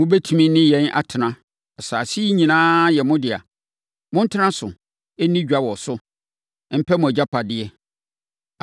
Mobɛtumi ne yɛn atena. Asase yi nyinaa yɛ mo dea. Montena so, nni dwa wɔ so, mpɛ mu agyapadeɛ.”